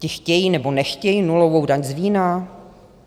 Ti chtějí, nebo nechtějí nulovou daň z vína?